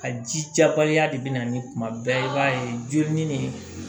Ka ji jabaliya de bɛ na ni kuma bɛɛ i b'a ye joli ɲini